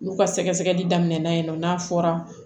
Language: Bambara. N'u ka sɛgɛsɛli daminɛna yen nɔ n'a fɔra